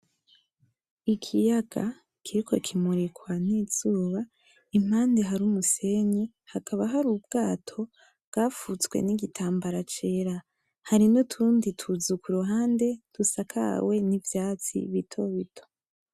Ikiyaga kiriko kimurikwa n'izuba, impande hari umusenyi. Hakaba hari ubwato bwafutswe n'igitambara cera. Hari n'utundi tuzu ku ruhande dusakawe n'ivyatsi bito bito.